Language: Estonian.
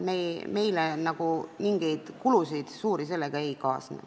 Meil mingeid suuri kulusid sellega ei kaasne.